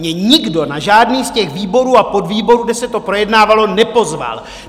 Mě nikdo na žádný z těch výborů a podvýborů, kde se to projednávalo, nepozval.